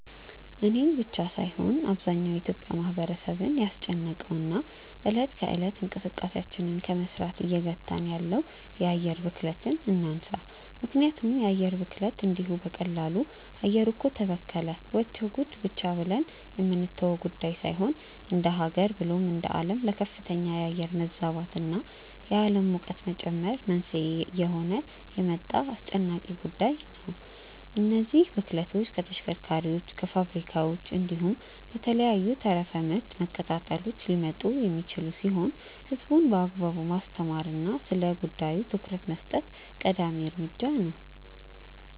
እኔን ብቻ ሳይሆን አብዛኛው የኢትዮጲያ ማህበረሰብን ያስጨነቀውን እና እለት ከእለት እንቅስቃሴያችንን ከመስራት እየገታን ያለውን የአየር ብክለትን እናንሳ። ምክንያቱም የአየር ብክለት እንዲሁ በቀላሉ “አየሩ እኮ ተበከለ… ወቸው ጉድ” ብቻ ብለን የምንተወው ጉዳይ ሳይሆን እንደሃገር ብሎም እንደአለም ለከፍተኛ የአየር መዛባት እና የአለም ሙቀት መጨመር መንስኤ እየሆነ የመጣ አስጨናቂ ጉዳይ ነው። እነዚህ ብክለቶች ከተሽከርካሪዎች፣ ከፋብሪካዎች፣ እንዲሁም ከተለያዩ ተረፈ ምርት መቀጣጠሎች ሊመጡ የሚችሉ ሲሆን ህዝቡን በአግባቡ ማስተማር እና ስለጉዳዩ ትኩረት መስጠት ቀዳሚ እርምጃ ነው።